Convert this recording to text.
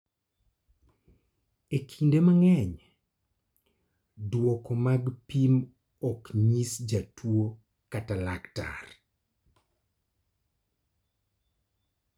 E kinde mang�eny, duoko mag pim ok nyis jatuo kata laktar.